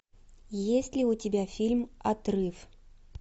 есть ли у тебя фильм отрыв